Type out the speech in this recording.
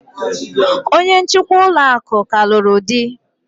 Onye njikwa ụlọ akụ ka lụrụ di